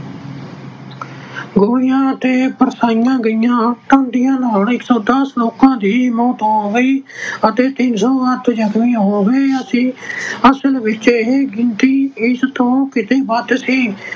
ਗੋਲੀਆਂ ਅਤੇ ਬਰਸਾਈਆਂ ਗਈਆਂ ਨਾਲ ਇੱਕ ਸੌ ਦਸ ਲੋਕਾਂ ਦੀ ਮੌਤ ਹੋ ਗਈ ਅਤੇ ਤਿੰਨ ਸੌ ਤੋਂ ਵੱਧ ਜਖਮੀ ਹੋ ਗਏ। ਅਸੀਂ ਅਹ ਅਸਲ ਵਿੱਚ ਇਹ ਗਿਣਤੀ ਇਸ ਤੋਂ ਕਿਤੇ ਵੱਧ ਸੀ।